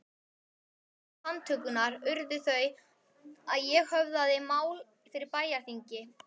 Eftirmál handtökunnar urðu þau að ég höfðaði mál fyrir bæjarþingi